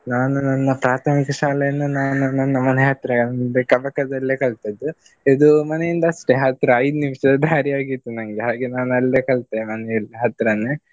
ನಾನು ನನ್ನ ಪ್ರಾಥಮಿಕ ಶಾಲೆಯನ್ನು ನಾನು ನನ್ನ ಮನೆ ಹತ್ತಿರ ಮುಂದೆ ಕಬಕದಲ್ಲೇ ಕಲ್ತದ್ದು. ಇದು ಮನೆಯಿಂದ ಅಷ್ಟೇ ಹತ್ರ ಐದು ನಿಮಿಷದ್ದು ದಾರಿಯಾಗಿತ್ತು ನನ್ಗೆ ಹಾಗೆ ನಾನು ಅಲ್ಲೇ ಕಲ್ತೆ ಮನೆಯ ಹತ್ರನೇ.